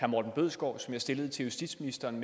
morten bødskov som jeg stillede til justitsministeren